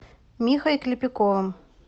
михой клепиковым